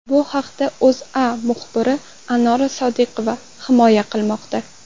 Bu haqda O‘zA muxbiri Anora Sodiqova hikoya qilmoqda .